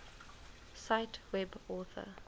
cite web author